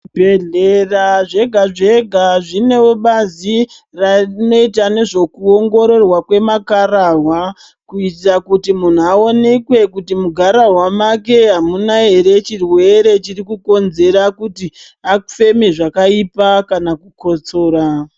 Zvibhedhlrea zvega zvega zvinewo bazi rinoita nezvekuongororwa kwemakhararwa kuitira kuti munhu aonekwe kuti mugararwa make hamuna here chirwere chiri kukonzera kuti afeme zvakaipa kana kukotsora.